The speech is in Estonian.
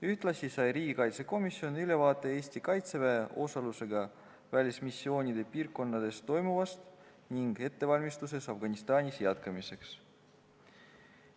Ühtlasi sai riigikaitsekomisjon ülevaate Eesti kaitseväe osalusega välismissioonide piirkondades toimuvast ning ettevalmistusest Afganistanis jätkamiseks.